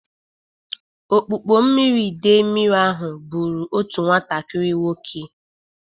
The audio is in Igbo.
Okpukpo mmiri idei mmiri ahụ bụrụ otu nwatakịrị nwoke.